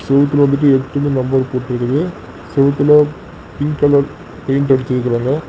செவத்துல வந்துட்டு எட்டுனு நம்பர் போட்டு இருக்கு செவத்துல பிங்க் கலர் பெயிண்ட் அடிச்சிடுக்கங்க.